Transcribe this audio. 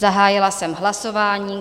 Zahájila jsem hlasování.